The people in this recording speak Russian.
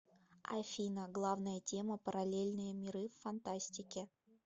афина главная тема параллельные миры в фантастике